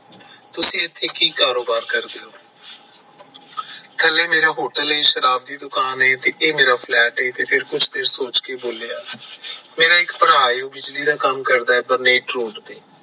ਤੁਸੀਂ ਇੱਥੇ ਕੀ ਕਾਰੋਬਾਰ ਕਰਦੇ ਓ ਥੱਲੇ ਮੇਰਾ hotel ਐ ਸ਼ਰਾਬ ਦੀ ਦੁਕਾਨ ਐ ਤੇ ਇਹ ਮੇਰਾ flat ਐ ਤੇ ਕੁਝ ਦੇਰ ਬਾਅਦ ਸੋਚ ਕੇ ਬੋਲਿਆ ਮੇਰਾ ਇੱਕ ਭਰਾ ਐ ਜੋ ਬਿਜਲੀ ਦਾ ਕੰਮ ਕਰਦਾ ਹੈ general store ਤੇ